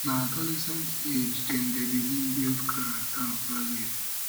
na adolescent age dem dey begin build character and um values